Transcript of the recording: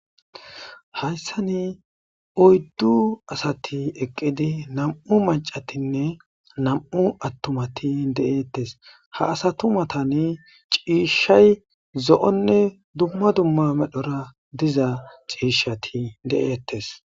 Hayssa ni oyddu asati eqqidi nam7u macatinne nam7u attumati de7eettes ha asatumatani ciishshay zo7onne dumma dumma medhora diza ciishshati de7eettes.